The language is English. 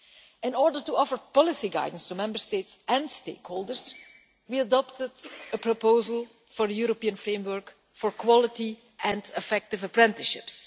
In order to offer policy guidance to Member States and stakeholders, we adopted a proposal for a European framework for quality and effective apprenticeships.